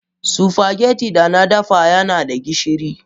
spaghetti da na dafa yana da gishiri.